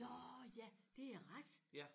Nåh ja det er rigtigt